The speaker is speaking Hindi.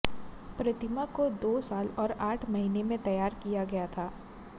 प्रतिमा को दो साल और आठ महीने में तैयार किया गया था